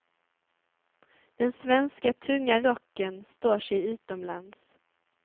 Den svenska tunga rocken står sig utomlands.